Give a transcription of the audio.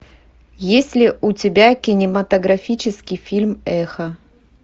есть ли у тебя кинематографический фильм эхо